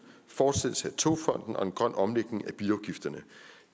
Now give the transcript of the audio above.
fortsættelse af togfonden og en grøn omlægning af bilafgifterne